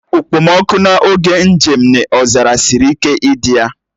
Okpomọkụ n'oge njem n'ọzara siri ike idi ya